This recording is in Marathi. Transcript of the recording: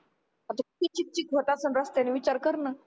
आता किती चिकचिक होत असल रस्त्यानी विचार कर ना